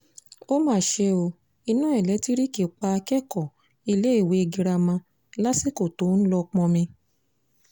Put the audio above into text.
ó mà ṣe o iná ẹlẹ́ńtíríìkì pa akẹ́kọ̀ọ́ iléèwé girama lásìkò tó ń lọ́ọ́ pọnmi